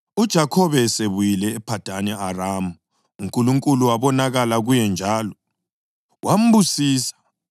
UJakhobe esebuyile ePhadani Aramu uNkulunkulu wabonakala kuye njalo, wambusisa.